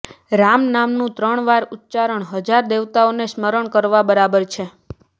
રામ નામનું ત્રણ વાર ઉચ્ચારણ હજારો દેવતાઓના સ્મરણ કરવા બરાબર છે